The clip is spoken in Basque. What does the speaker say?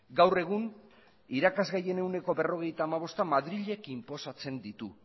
gaur egun irakasgai gehien ehuneko berrogeita hamabosta madrilek inposatzen ditu